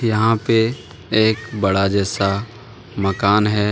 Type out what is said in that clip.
यहां पे एक बड़ा जैसा मकान है।